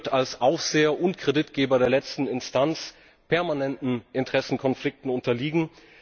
EZB. Sie wird als Aufseher und Kreditgeber der letzten Instanz permanenten Interessenkonflikten unterliegen.